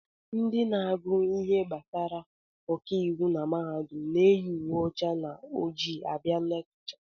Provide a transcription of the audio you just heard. Ndị na-agụ ihe gbasara ọkàiwu na mahadum na-eyi uwe ọcha na ojii abịa lekchọ